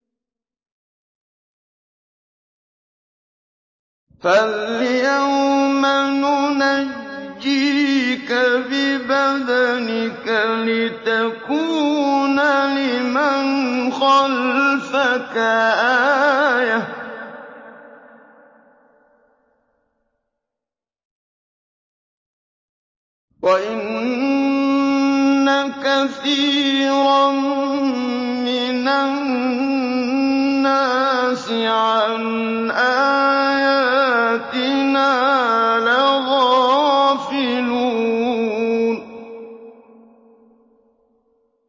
فَالْيَوْمَ نُنَجِّيكَ بِبَدَنِكَ لِتَكُونَ لِمَنْ خَلْفَكَ آيَةً ۚ وَإِنَّ كَثِيرًا مِّنَ النَّاسِ عَنْ آيَاتِنَا لَغَافِلُونَ